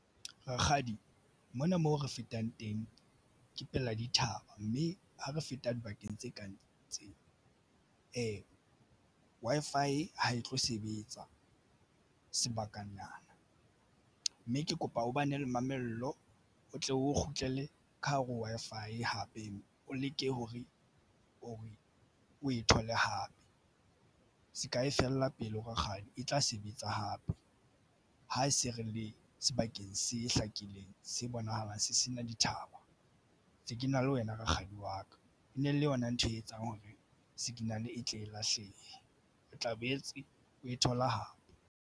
Rakgadi mona mo re fetang teng ke pela dithaba, mme ha re feta dibakeng tse kang tseo Wi-Fi ha e tlo sebetsa sebakana mme ke kopa o bane le mamello o tle o kgutlele ka hare ho Wi-Fi Hape o leke hore o e o e thole hape se ka e fella pelo rakgadi e tla sebetsa hape ha se re le sebakeng se hlakileng se bonahalang se se na dithaba. Ntse ke na le wena. Rakgadi wa ka e ne le yona ntho e etsang hore signal e tle e lahlehe o tla boetse o e thola hape.